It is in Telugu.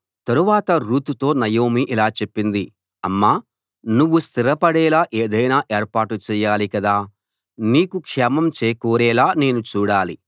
తరువాత రూతుతో నయోమి ఇలా చెప్పింది అమ్మా నువ్వు స్థిరపడేలా ఏదైనా ఏర్పాటు చెయ్యాలి కదా నీకు క్షేమం చేకూరేలా నేను చూడాలి